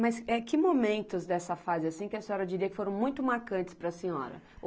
Mas que momentos dessa fase assim que a senhora diria que foram muito marcantes para a senhora?